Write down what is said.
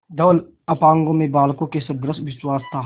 धवल अपांगों में बालकों के सदृश विश्वास था